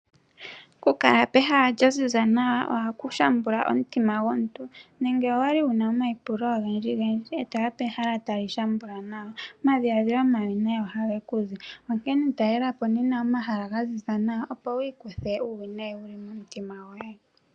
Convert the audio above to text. Okukala pehala lya ziza nawa ohaku shambula omutima gwomuntu. Nenge owa li wu na omaipulo ogendjigendji e to ya pehala tali shambula nawa, omadhiladhilo omawinayi ohage ku zi. Onkene talela po nena omahala ga ziza nawa, opo wi ikuthe uuwinayi wu li momutima goye.